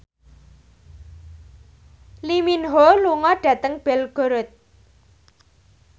Lee Min Ho lunga dhateng Belgorod